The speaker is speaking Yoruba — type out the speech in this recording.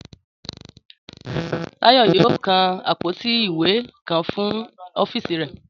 Táyọ̀ yóò kan àpótí ìwé kan fún ọ́fíìsì rẹ̀